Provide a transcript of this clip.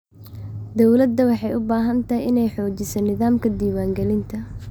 Dawladdu waxay u baahan tahay inay xoojiso nidaamka diiwaangelinta.